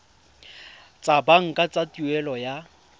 tsa banka tsa tuelo ya